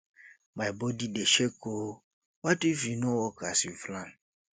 my body dey shake oo what if e no work as we plan